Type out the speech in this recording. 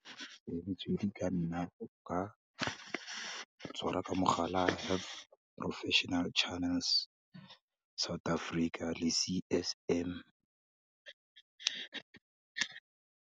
Metswedi e ka nna botoka, ka tshwara ka mogala wa ka professional channels, South Africa, le C_S_M.